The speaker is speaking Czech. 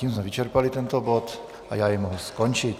Tím jsme vyčerpali tento bod a já jej mohu skončit.